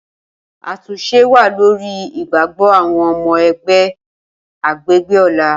Atunṣe wa lori igbagbọ awọn ọmọ ẹgbẹ agbegbe Ola.